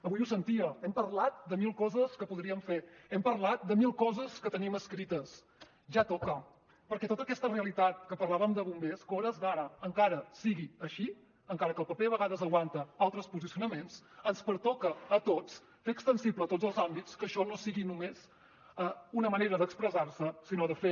avui ho sentia hem parlat de mil coses que podríem fer hem parlat de mil coses que tenim escrites ja toca perquè tota aquesta realitat que parlàvem de bombers que a hores d’ara encara sigui així encara que el paper a vegades aguanta altres posicionaments ens pertoca a tots fer extensible a tots els àmbits que això no sigui només una manera d’expressar se sinó de fer